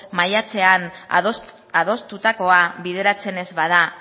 maiatzean adostutakoa bideratzen ez bada